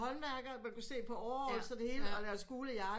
Håndværker man kunne se på overalls og det hele og deres gule jakker